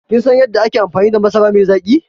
Kin san yadda ake amfani da masara mai zaƙi?